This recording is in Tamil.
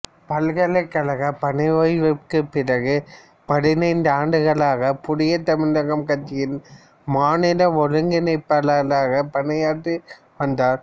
பல்கலைக்கழக பணி ஓய்விற்குப் பிறகு பதினைந்து ஆண்டுகளாக புதிய தமிழகம் கட்சியின் மாநில ஒருங்கிணைப்பாளராக பணியாற்றி வந்தார்